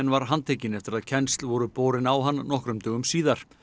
var handtekinn eftir að kennsl voru borin á hann nokkrum dögum síðar